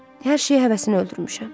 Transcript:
Hər şeyə həvəsini öldürmüşəm.